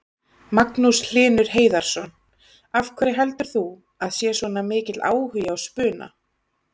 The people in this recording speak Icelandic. Magnús Hlynur Hreiðarsson: Af hverju heldur þú að sé svona mikill áhugi á spuna?